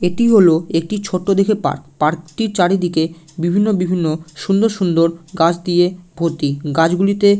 এটি হলো একটি ছোট্টো দেখে পার্ক । পার্কটির চারিদিকে বিভিন্ন বিভিন্ন সুন্দর সুন্দর গাছ দিয়ে ভর্তি গাছগুলিতে --